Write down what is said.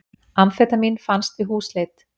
Amfetamín fannst við húsleit